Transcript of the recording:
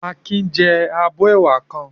Akin jẹ abọ́ ẹwà kan.